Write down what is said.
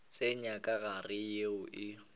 tsenya ka gare yeo e